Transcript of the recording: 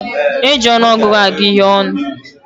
E ji ọnụọgụgụ agụ ihé ọnụ